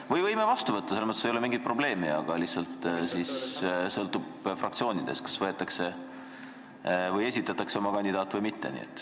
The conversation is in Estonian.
Me võime selle ka vastu võtta, selles mõttes ei ole mingit probleemi, aga siis sõltub fraktsioonidest, kas esitatakse oma kandidaadid või mitte.